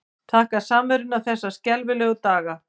Þakka samveruna þessa skelfilegu daga.